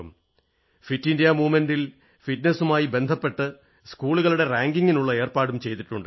fit India പ്രസ്ഥാനത്തിൽ ഫിറ്റ്നസുമായി ബന്ധപ്പെട്ട് സ്കൂളുകളുടെ റാങ്കിംഗിനുള്ള ഏർപ്പാടും ചെയ്തിട്ടുണ്ട്